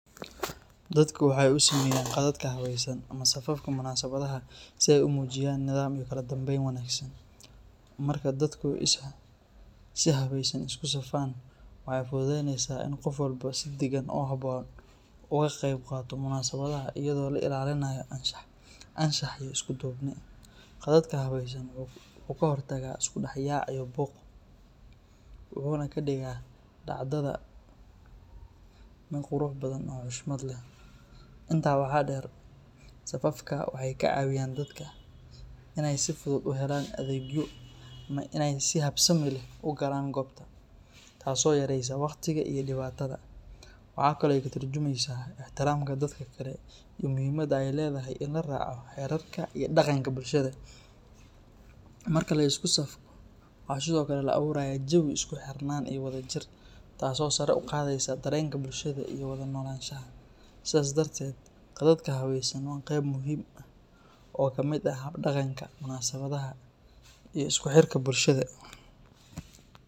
Dadka waxay u sameeyaan qadadka habaysan ama safafka munaasabadaha si ay u muujiyaan nidaam iyo kala dambeyn wanaagsan. Marka dadku si habaysan isku safaan, waxay fududeynaysaa in qof walba si degan oo habboon uga qayb qaato munaasabadda iyadoo la ilaalinayo anshax iyo isku duubni. Qadadka habaysan wuxuu ka hortagaa isku dhex yaac iyo buuq, wuxuuna ka dhigaa dhacdada mid qurux badan oo xushmad leh. Intaa waxaa dheer, safafka waxay ka caawiyaan dadka inay si fudud u helaan adeegyo ama inay si habsami leh u galaan goobta, taas oo yareysa wakhtiga iyo dhibaatada. Waxaa kale oo ay ka turjumaysaa ixtiraamka dadka kale iyo muhiimadda ay leedahay in la raaco xeerarka iyo dhaqanka bulshada. Marka la isku safko, waxaa sidoo kale la abuurayaa jawi isku xirnaan iyo wadajir, taasoo sare u qaadaysa dareenka bulshada iyo wada noolaanshaha. Sidaas darteed, qadadka habaysan waa qayb muhiim ah oo ka mid ah hab dhaqanka munaasabadaha iyo isku xirka bulshada.